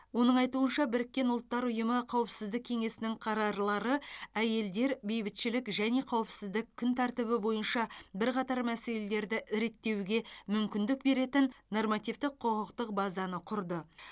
оның айтуынша біріккен ұлттар ұйымы қауіпсіздік кеңесінің қарарлары әйелдер бейбітшілік және қауіпсіздік күн тәртібі бойынша бірқатар мәселелерді реттеуге мүмкіндік беретін нормативтік құқықтық базаны құрды